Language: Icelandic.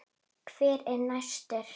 Hver er næstur?